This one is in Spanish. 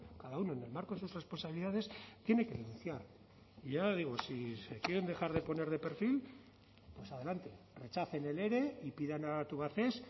cada uno en el marco de sus responsabilidades tiene que denunciar y ya le digo si se quieren dejar de poner de perfil pues adelante rechacen el ere y pidan a tubacex